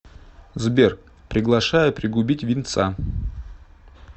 сбер приглашаю пригубить винца